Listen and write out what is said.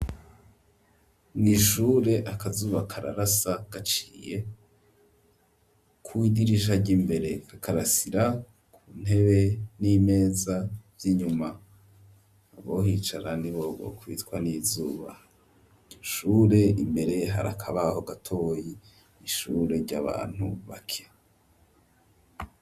mw,ishure akazuba kararasa gaciye kw,idirisha ry'imbere kakarasira ku ntebe n'imeza z'inyuma, abohicara nibo bokwicwa n'izuba, ishure imbere hari akabaho gatoyi, ishure ry'abantu bake.